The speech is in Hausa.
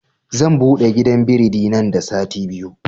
Zan buɗe gidan biredi nan da sati biyu